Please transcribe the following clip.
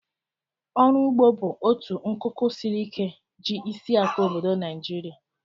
Ọrụ ụgbọ bụ otu nkuku siri ike ji isiakụ obodo Naijiria